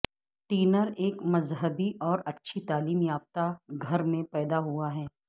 tenor ایک مذہبی اور اچھی تعلیم یافتہ گھر میں پیدا ہوا تھا